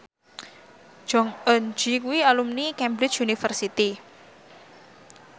Jong Eun Ji kuwi alumni Cambridge University